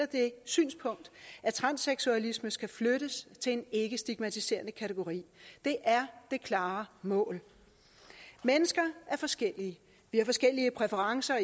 det synspunkt at transseksualisme skal flyttes til en ikkestigmatiserende kategori det er det klare mål mennesker er forskellige vi har forskellige præferencer